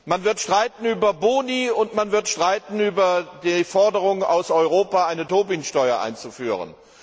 Man wird streiten über Boni, und man wird streiten über die Forderung aus Europa, eine Tobin Steuer einzuführen.